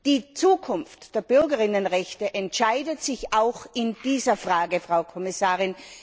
Die Zukunft der BürgerInnenrechte entscheidet sich auch in dieser Frage, Frau Kommissarin.